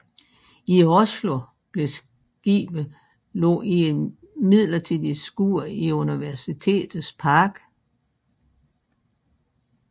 I Oslo blev skibet lagt i et midlertidig skur i Universitetets park